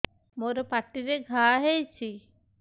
ମୋର ପାଟିରେ ଘା ହେଇଚି